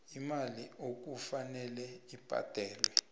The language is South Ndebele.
imali okufanele ibhadelwe